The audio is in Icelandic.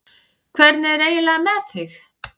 Hvernig er eiginlega með þig?